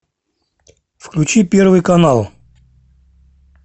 включи первый канал